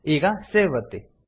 ಈಗ ಸೇವ್ ಒತ್ತಿ